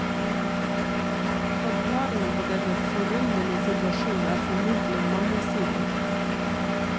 Forklaringen på denne forunderlige situasjon er formodentlig mangesidig.